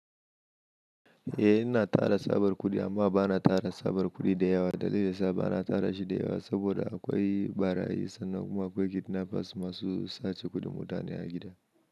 Eh, ina tara tsabar kuɗi amma ba na tara tsabar kuɗi da yawa. Dalilin sa ba na tara shi da yawa saboda akwai barayi sannan kuma akwai kidnappers masu sace kuɗin mutane a gida.